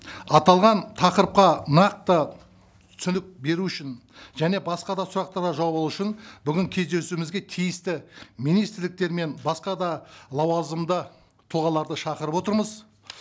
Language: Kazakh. аталған тақырыпқа нақты түсінік беру үшін және басқа да сұрақтарға жауап алу үшін бүгін кездесуімізге тиісті министрліктер мен басқа да лауазымды тұлғаларды шақырып отырмыз